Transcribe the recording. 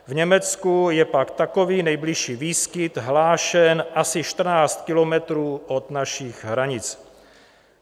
V Německu je pak takový nejbližší výskyt hlášen asi 14 kilometrů od našich hranic.